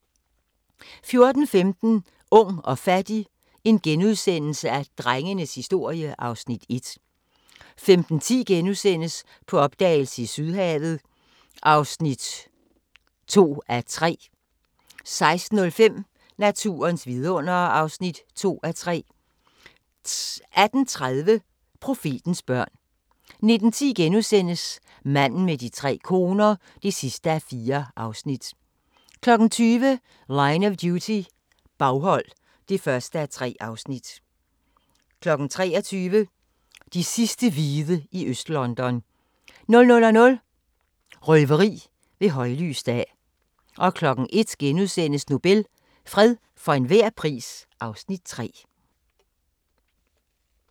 14:15: Ung og fattig - drengenes historie (Afs. 1)* 15:10: På opdagelse i Sydhavet (2:3)* 16:05: Naturens vidundere (2:3) 18:30: Profetens børn 19:10: Manden med de tre koner (4:4)* 20:00: Line of Duty - baghold (1:3) 23:00: De sidste hvide i Øst-London 00:00: Røveri ved højlys dag 01:00: Nobel – fred for enhver pris (Afs. 3)*